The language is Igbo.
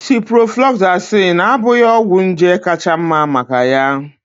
Ciprofloxacin abụghị ọgwụ nje kacha mma maka ya?